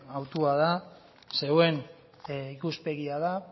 hautua da zuen ikuspegia da